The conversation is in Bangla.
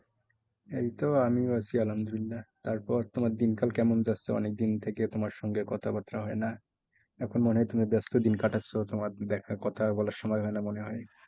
এইতো আমিও আছি আলহাম দুলিল্লা তারপর তোমার দিনকাল কেমন যাচ্ছে? থেকে তোমার সঙ্গে কথা বার্তা হয় না। এখন মনে হয় তুমি ব্যস্ত দিন কাটাচ্ছো, তোমার একটাও কথা বলার সময় হয় না মনে হয়।